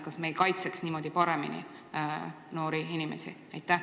Kas me ei kaitseks niimoodi noori inimesi paremini?